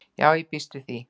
Já ég býst við því.